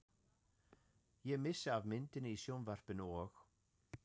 Ég missi af myndinni í sjónvarpinu og.